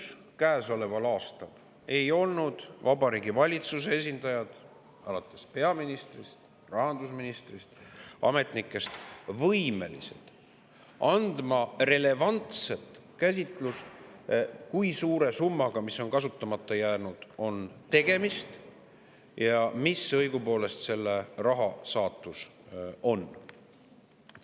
Veel käesoleva aasta juunikuus ei olnud Vabariigi Valitsuse esindajad, alates peaministrist ja rahandusministrist, ning ametnikud võimelised andma relevantset käsitlust, kui suure summaga, mis on kasutamata jäänud, on tegemist ja mis õigupoolest selle raha saatus on.